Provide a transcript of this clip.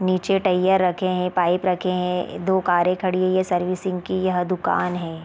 निचे टइया रखे है पाइप रखे है दो कारे खड़ी है यह सर्विसिंग की यह दुकान है।